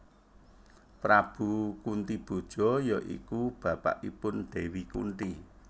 Prabu Kuntiboja ya iku bapakipun Dewi Kunthi